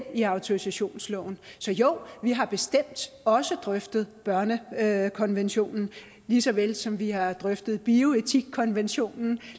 i autorisationsloven så jo vi har bestemt også drøftet børnekonventionen lige så vel som vi har drøftet bioetikkonventionen